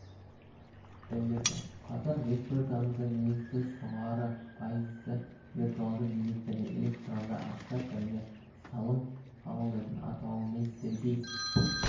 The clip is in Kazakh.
білдіреді қазір республикамызда негізсіз жоғары пайызды виртуалды билеттерге электронды ақша түрінде салым қабылдайтын атауымен сергей